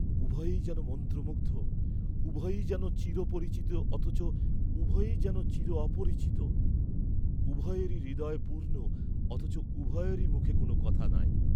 উভয়েই যেন মন্ত্রমুগ্ধ; উভয়েই যেন চিরপরিচিত অথচ উভয়েই যেন চির অপরিচিত; উভয়েরই হৃদয় পূর্ণ অথচ উভয়েরই মুখে কোন কথা নাই।